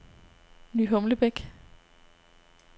Ny Humlebæk